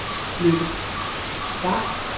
Lykke Pham